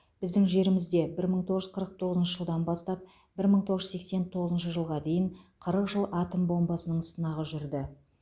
біздің жерімізде бір мың тоғыз жүз қырық тоғызыншы жылдан бастап бір мың тоғыз жүз сексен тоғызыншы жылға дейін қырық жыл атом бомбасының сынағы жүрді